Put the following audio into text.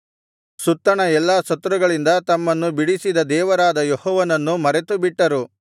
ಸುತ್ತಣ ಎಲ್ಲಾ ಶತ್ರುಗಳಿಂದ ತಮ್ಮನ್ನು ಬಿಡಿಸಿದ ದೇವರಾದ ಯೆಹೋವನನ್ನು ಮರೆತುಬಿಟ್ಟರು